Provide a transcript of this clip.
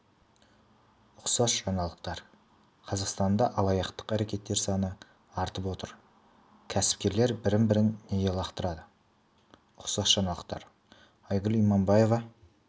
ұқсас жаңалықтар қазақстанда алаяқтық әрекеттер саны артып отыр кәсіпкерлер бір-бірін неге лақтырады ұқсас жаңалықтар айгүл иманбаева